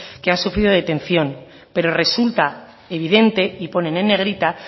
que han sufrido detención pero resulta evidente y ponen en negrita